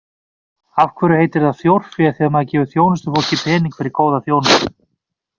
Af hverju heitir það þjórfé þegar maður gefur þjónustufólki pening fyrir góða þjónustu?